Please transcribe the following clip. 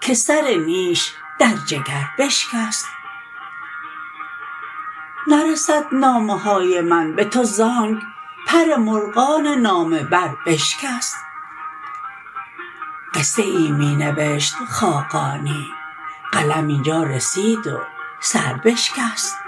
که سر نیش در جگر بشکست نرسد نامه های من به تو ز آنک پر مرغان نامه بر بشکست قصه ای می نوشت خاقانی قلم اینجا رسید و سر بشکست